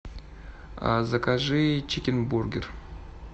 закажи чикен бургер